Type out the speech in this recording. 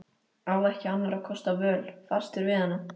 Á ekki annarra kosta völ, fastur við hana.